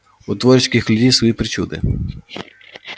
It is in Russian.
у творческих людей свои причуды